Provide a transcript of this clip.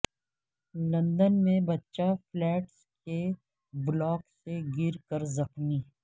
London میں بچہ flats کے بلاک سے گر کر زخمی